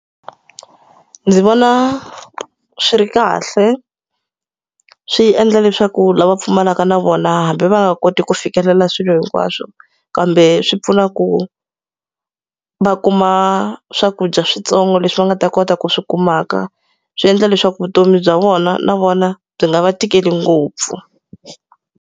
Ndzi vona swi ri kahle, swi endla leswaku lava pfumalaka na vona hambi va nga koti ku fikelela swilo hinkwaswo. Kambe swi pfuna ku va kuma swakudya switsongo leswi va nga ta kota ku swi kumaka. Swi endla leswaku vutomi bya vona na vona byi nga va tikeli ngopfu.